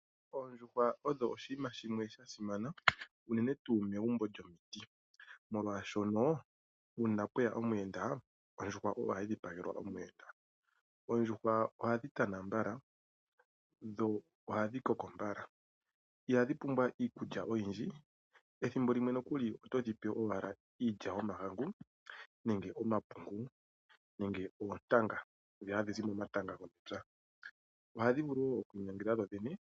Oondjuhwa odho oshinima shimwe sha simana unene tuu megumbo lyomiti, molwashono uuna pwe ya omuyenda, ondjuhwa oyo hayi dhipagelwa omuyenda. Oondjuhwa ohadhi tana mbala dho ohadhi koko mbala. Ihadhi pumbwa iikulya oyindji, ethimbo limwe nokuli oto dhi pe owala iilya yomahangu nenge omapungu nenge oontanga ndhi hadhi zi momatanga gomepya. Ohadhi vulu wo oku inyangela dhodhene.